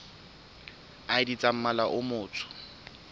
id tsa mmala o motsho